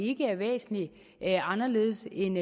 ikke er væsentlig anderledes end